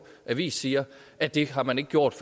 avis siger at det har man ikke gjort